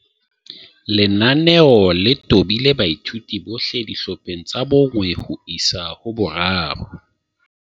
Lenaneo le tobile baithuti bohle ba dihlopheng tsa 1 ho isa 3